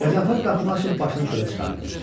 Qəzənfər qapını açıb başını çölə çıxartdı.